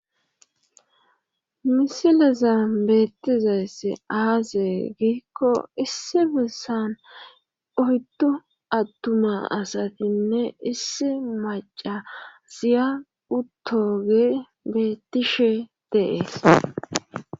misilezan beettizayssi aase giikko issi bessan oyddu attuma asatinne issi macasiya uttoge beettishe de7ees.